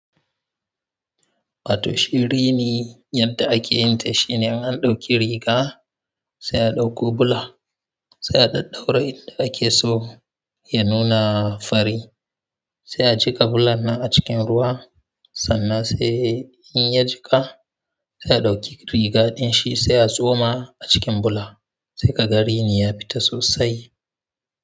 Wato shi rini yadda akeyin ta shine in an ɗauki riga sai a ɗauko bula sai a ɗaɗɗaure inda akeso ya nuna fari sai a jika bulan nan a cikin ruwa sannan sai in ya jika za a ɗauki riga ɗin shi sai a tsoma a cikin bula se kaga rini ya fita sosai.